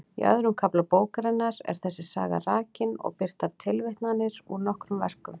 Í öðrum kafla bókarinnar er þessi saga rakin og birtar tilvitnanir úr nokkrum verkum.